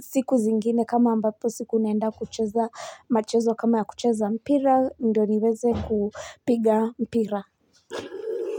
siku zingine kama ambapo siku naenda kucheza machezo kama ya kucheza mpira ndo niweze kupiga mpira.